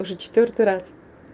уже четвёртый раз